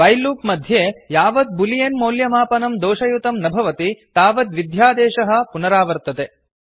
while loop मध्ये यावत् Boolean मौल्यमापनं दोषयुतं न भवति तावत् विध्यादेशः कोड् पुनरावर्तते